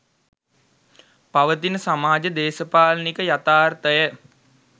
පවතින සමාජ දේශපාලනික යථාර්ථය